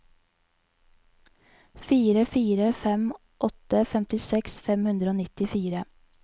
fire fire fem åtte femtiseks fem hundre og nittifire